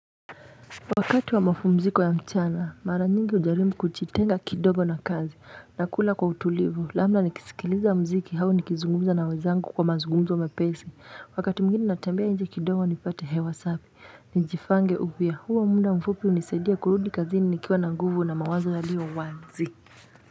Wakati wa mapumziko ya mchana mara nyingi ujaribu kujitenga kidogo na kazi na kula kwa utulivu labda nikisikiliza mziki hau nikizungumza na wezangu kwa mazugumzo mepesi wakati mwingine natambea inje kidogo nipate hewa safi nijifange upya huo munda mfupi unisaidia kurudi kazini nikiwa na nguvu na mawazo yalio wanzi.